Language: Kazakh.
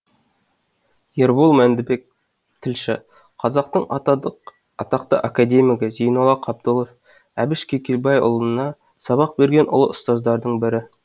ербол мәндібек тілші қазақтың атақты академигі зейолла қабдолов әбіш кекілбайұлына сабақ берген ұлы ұстаздардың бірі